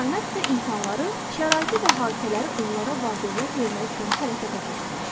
Kainat isə insanları, şəraiti və hadisələri onlara var-dövlət vermək üçün hərəkətə keçirmişdi.